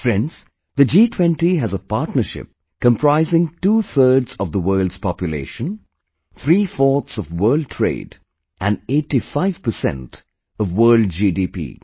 Friends, the G20 has a partnership comprising twothirds of the world's population, threefourths of world trade, and 85% of world GDP